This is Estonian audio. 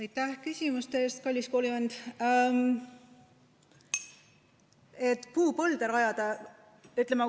Aitäh küsimuste eest, kallis koolivend!